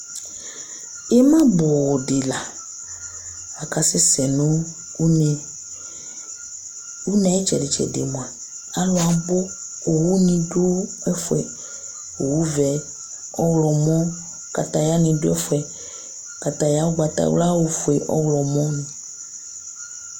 ima bʊ dɩ la, akasɛ sɛ nʊ une, une yɛ ayʊ itsɛdɩ itsɛdɩ mua, alʊ abʊ, owunɩ dʊ ɛfʊ yɛ, owu vɛ, ɔwlɔmɔ, wohenɩ dʊ ɛfʊ yɛ, wohe ugbatawla, ofue, ɔwlɔmɔ